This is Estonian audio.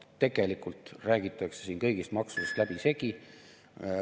Tegelikult räägitakse siin kõigist maksudest läbisegi.